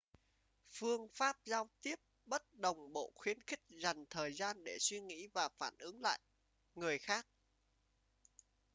phương pháp giao tiếp bất đồng bộ khuyến khích dành thời gian để suy nghĩ và phản ứng lại người khác